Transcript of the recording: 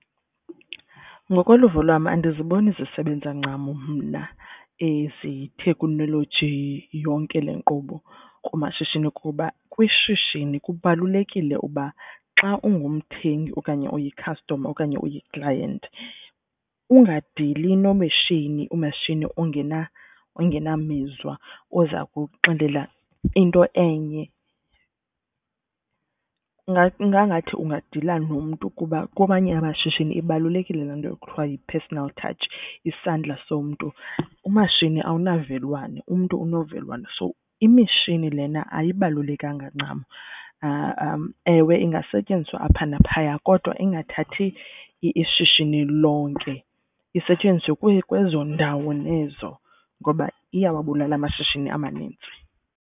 Ngokoluvo lwam andiziboni zisebenza ncam mna ezi teknoleji yonke le nkqubo kumashishini. Kuba kwishishini kubalulekile uba xa ungumthengi okanye uyi-customer okanye uyi-client ungadili nomeshini umeshini ongena, ongenamizwa oza kuxelela into enye ingangathi ungadila nomntu. Kuba kwamanye amashishini ibalulekile laa nto ekuthiwa yi-personal touch isandla somntu. Umashini awunavelwano, umntu unovelwano so imishini lena ayibalulekanga ncam ewe ingasetyenziswa apha naphaya kodwa ingathathi ishishini lonke. Isetyenziswe kwezo ndawo nezo ngoba iyawabulala amashishini amanintsi.